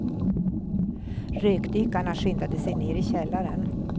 Rökdykarna skyndade sig ner i källaren.